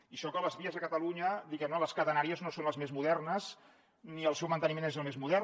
i això que les vies a catalunya diguem ne les catenàries no són les més modernes ni el seu manteniment és el més modern